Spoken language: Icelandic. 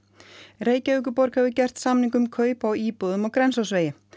Reykjavíkurborg hefur gert samning um kaup á íbúðum á Grensásvegi